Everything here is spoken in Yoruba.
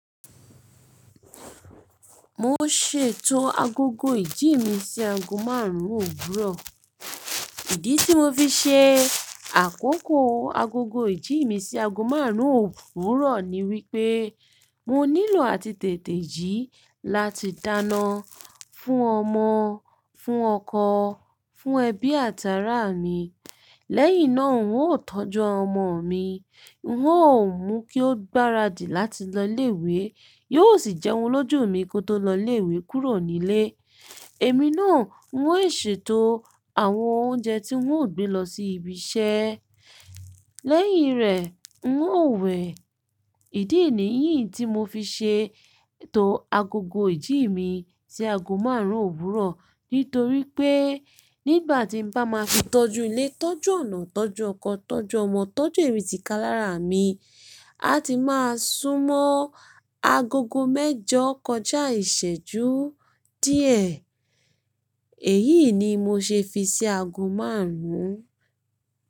Mo ṣètò agogo ìjí mi sí aago márùn-ún òwúrọ̀. Ìdí tí mo fi ṣe àkókò agogo ìjí mi sí aago márùn-ún òwúrọ̀ ni wípé mo nílò àtìteté ji láti dáná fún ọmọ, fún ọkọ, fún ẹbí àti ará mi. Lẹ́yìn náà, n ó tọ́jú ọmọ mi, n ó mú kí ó gbáradì láti lọ ilé-ìwé, yóò sì jẹ́un lójú mi kó tó lọ ilé-ìwé kúrò nílé. Èmi náà, n ó ṣètò àwọn oúnjẹ tí n ó gbé lọ sí ibi iṣẹ́. Lẹ́yìn rẹ̀, n ó wẹ̀. Ìdí nìyí tí mo fi ṣètò agogo ìjí mi sí aago márùn-ún òwúrọ̀. Nítorí pé nígbà tí n bá máa fi tọ́jú ilé, tọ́jú ọ̀nà, tọ́jú ọkọ, tọ́jú ọmọ, tọ́jú èmitíkalára mi, a ti máa súnmọ́ agogo mẹ́jọ kọjá ìṣẹ́jú díẹ̀. Èyí ni mo ṣe fi ṣi aago márùn-ún.